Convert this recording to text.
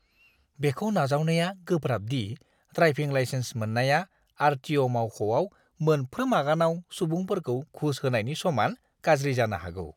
बेखौ नाजावनाया गोब्राब दि ड्राइभिं लाइसेन्स मोन्नाया आर.टि.अ'. मावख'आव मोनफ्रोम आगानाव सुबुंफोरखौ घुस होनायनि समान गाज्रि जानो हागौ!